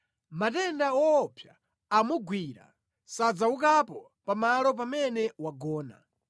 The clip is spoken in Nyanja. “Matenda owopsa amugwira; sadzaukapo pamalo pamene wagona.”